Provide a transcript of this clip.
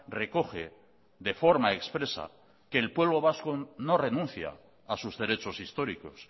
recoge de forma expresa que el pueblo vasco no renuncia a sus derechos históricos